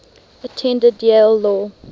attended yale law